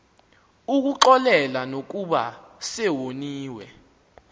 ukuxolela nokuba sewoniwe